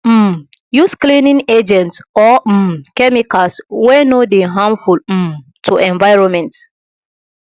um use cleaning agents or um chemicals wey no dey harmful um to environment